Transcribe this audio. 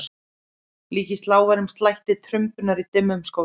Líkist lágværum slætti trumbunnar í dimmum skógi.